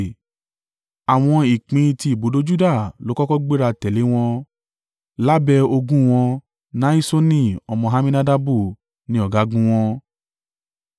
Àwọn ìpín ti ibùdó Juda ló kọ́kọ́ gbéra tẹ̀lé wọn lábẹ́ ogun wọn Nahiṣoni ọmọ Amminadabu ni ọ̀gágun wọn.